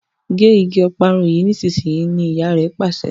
gé ìgi Ọparun yí nísìsiyìí! ní ìyá rẹ Pàṣẹ.